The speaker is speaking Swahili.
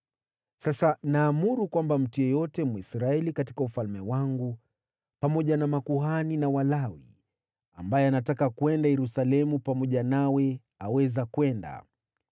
Sasa naamuru kwamba mtu yeyote Mwisraeli katika ufalme wangu, pamoja na makuhani na Walawi, ambaye anataka kwenda Yerusalemu pamoja nawe aweza kwenda.